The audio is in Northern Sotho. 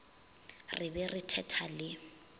re be re thetha le